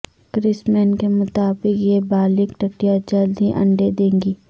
کریسمین کے مطابق یہ بالغ ٹڈیاں جلد ہی انڈے دیں گی